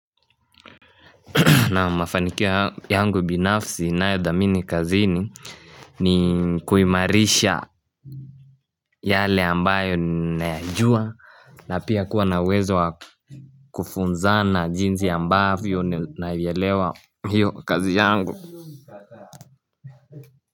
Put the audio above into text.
Na mafanikio yangu binafsi ninayothamini kazini ni kuimarisha yale ambayo nayajua na pia kuwa nauwezo wakufunzana jinsi ambavyo naielewa hiyo kazi yangu.